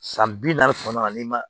San bi naani kɔnɔna na n'i ma